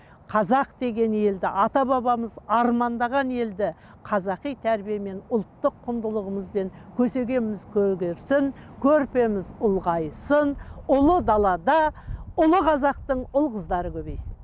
қазақ деген елді ата бабамыз армандаған елді қазақи тәрбиемен ұлттық құндылығымызбен көсегеміз көгерсін көрпеміз ұлғайсын ұлы далада ұлы қазақтың ұл қыздары көбейсін